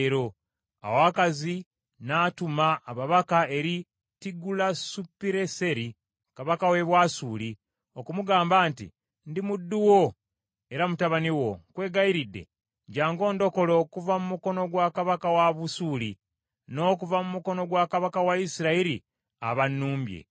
Awo Akazi n’atuma ababaka eri Tigulasupireseri kabaka w’e Bwasuli, okumugamba nti, “Ndi muddu wo era mutabani wo, nkwegayiridde jjangu ondokole okuva mu mukono gwa kabaka wa Busuuli; n’okuva mu mukono gwa kabaka wa Isirayiri abannumbye .”